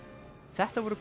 þetta voru